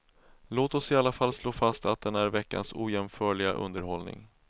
Låt oss i alla fall slå fast att den är veckans ojämförliga underhållning.